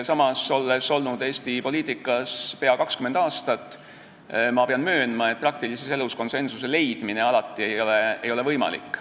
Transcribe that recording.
Samas, olles olnud Eesti poliitikas pea 20 aastat, pean möönma, et praktilises elus ei ole konsensuse leidmine alati võimalik.